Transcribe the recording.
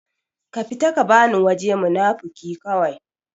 ka fita ka bani waje munafuki kawai